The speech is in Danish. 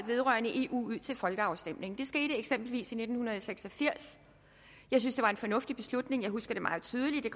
vedrørte eu ud til folkeafstemning det skete eksempelvis i nitten seks og firs jeg synes det var en fornuftig beslutning jeg husker det meget tydeligt det